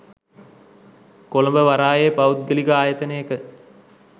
කොළඹ වරායේ පෞද්ගලික ආයතනයක